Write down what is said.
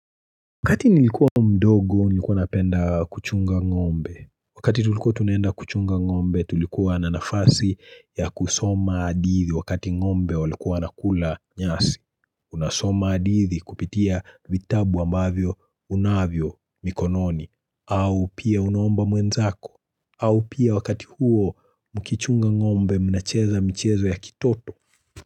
Wakati nilikuwa mdogo nilikuwa napenda kuchunga ng'ombe, wakati tulikua tunaenda kuchunga ng'ombe tulikuwa na nafasi ya kusoma adithi wakati ng'ombe walikuwa nakula nyasi, unasoma adithi kupitia vitabu ambavyo unavyo mikononi, au pia unaomba mwenzako, au pia wakati huo mkichunga ng'ombe mnacheza mchezo ya kitoto.